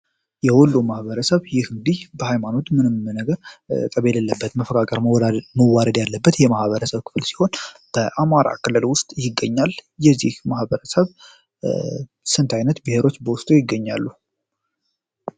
የሁሉም ማህበረሰብ እንግዲህ በሀይማኖቱ ምንም ነገር መዋደድ ያለበት የማህበረሰብ ክፍል ይሆን በአማራ ክልል ውስጥ ይገኛል የዚህ ማበረሰብ ስንት አይነት ብሔሮች በውስጡ ይገኛሉ?